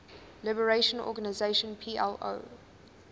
liberation organization plo